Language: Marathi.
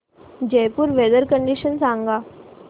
जयपुर वेदर कंडिशन सांगा